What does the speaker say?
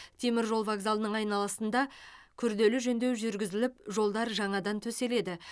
теміржол вокзалының айналасында күрделі жөндеу жүрігізіліп жолдар жаңадан төселеді